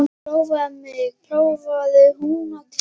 Prófaðu mig, prófaðu hnútana mína.